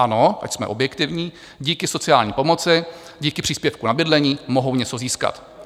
Ano, ať jsme objektivní, díky sociální pomoci, díky příspěvku na bydlení mohou něco získat.